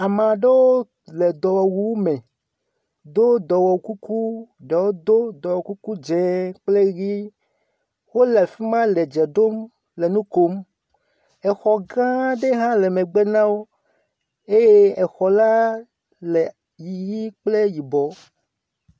Ame aɖewo le dɔwɔwu me do dɔwɔkuku, ɖewo do dɔwɔkukudze kple ʋi. Wole fi male dze dom le nu kom, exɔ gã ɖe le megbe na wo, eye exɔ la hã le ʋi kple yibɔ.